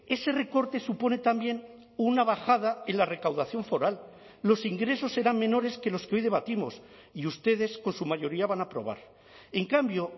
ese recorte supone también una bajada en la recaudación foral los ingresos serán menores que los que hoy debatimos y ustedes con su mayoría van a aprobar en cambio